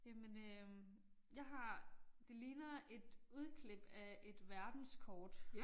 Jamen øh jeg har det ligner et udklip af et verdenskort